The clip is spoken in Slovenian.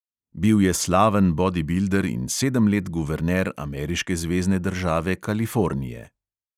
Bil je slaven bodibilder in sedem let guverner ameriške zvezne države kalifornije.